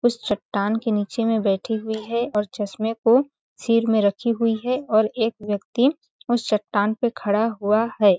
उस चट्टान के निचे में बैठी हुई है और चश्मे को सिर में रखी हुई है और एक व्यक्ति उस चट्टान पे खड़ा हुआ है।